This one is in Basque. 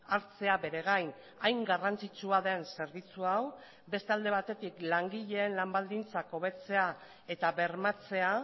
hartzea bere gain hain garrantzitsua den zerbitzu hau beste alde batetik langileen lan baldintzak hobetzea eta bermatzea